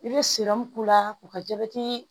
I bɛ k'u la k'u ka jabɛti